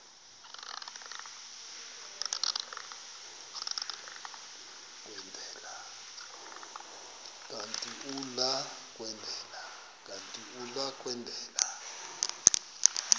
kanti uia kwendela